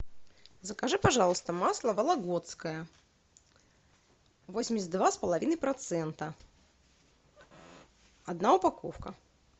закажи пожалуйста масло вологодское восемьдесят два с половиной процента одна упаковка